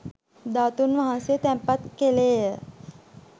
ධාතූන් වහන්සේ තැන්පත් කෙළේය.